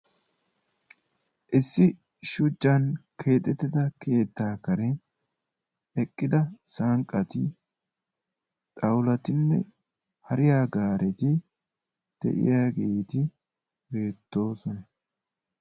Issi shuchchan keexettida keetta kareni eqqidda sanqatti xawullatti hariyaa garetti de'iyaagetti beettosona.